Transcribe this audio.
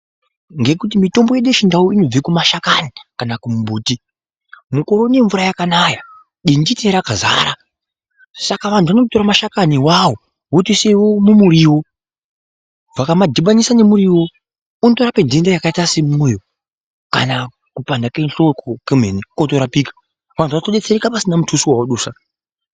Ngekuti mitombo yedu yechindau inobve kumashakani kana kumbuti mukaone mvura yakanaya dinditi rakazara. Saka vantu vatotora mashakani awawo votoise mumuriwo. Vakamadhibanisa nemuriwo unotorapa nhenda yakaite semumoyo kana kupanda kwehloko kwemene kwotorapika. Vantu votodetsereka pasina mutuso waadusa.